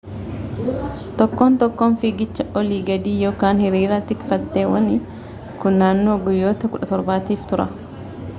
tokkoon tokkoon fiigicha olii gadii ykn hiriira tikfatteewwanii kun naannoo guyyoota 17 tiif tura